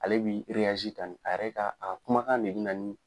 Ale bi tan ne a yɛrɛ ka a kumakan de bɛ na ni.